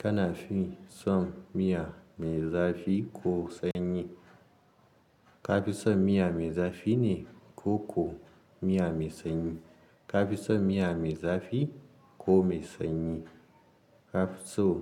Kana fin son miya mai zafi ko sanyi. Ka fi son miya mai zafi ne ko ko miya mai sanyi. Ka fi son miya mai zafi ko mai sanyi. Ka fi so